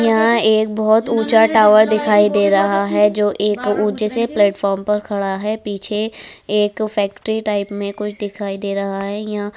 यहाँ एक बहुत ऊंचा टावर दिखाई दे रहा है जो एक ऊंचे से प्लेटफॉर्म पर खड़ा है पीछे एक फेक्टरी टाइप में कुछ दिखाई दे रहा है। यहाँ --